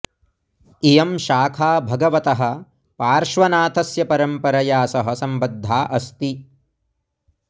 इयं शाखा भगवतः पार्श्वनाथस्य परम्परया सह सम्बद्धा अस्ति